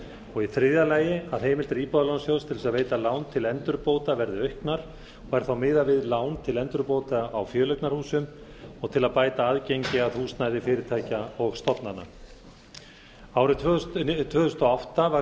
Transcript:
og í þriðja lagi að heimildir íbúðalánasjóð til að veita lán til endurbóta verði auknar og er þá miðað við lán til endurbóta á fjöleignarhúsum og til að bæta aðgengi að húsnæði fyrirtækja og stofnana árið tvö þúsund og átta var